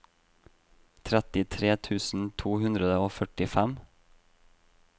trettitre tusen to hundre og førtifem